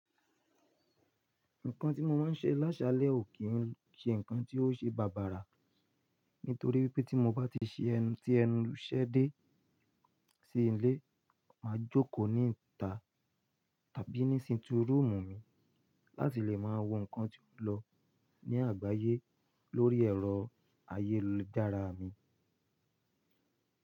Nǹkan tí mo máa ń ṣe lásalẹ̀ ò kí ń ṣe nǹkan tí ó ṣe bàbàrà, nítorí wípé tí mo bá ti ṣe ẹnu tí ẹnu ṣẹ́ dé sí ilé, màá jókòó ní ìta tàbí ni sitting rúùmù mi láti lè máa wo nǹkan tí ó ń lọ ní àgbáyé lórí ẹ̀rọ ayélujára mi.